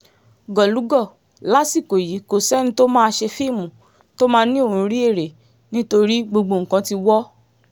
gólùgò lásìkò yìí kò sẹ́ni tó máa ṣe fíìmù tó máa ní òun rí èrè nítorí gbogbo nǹkan ti wọ̀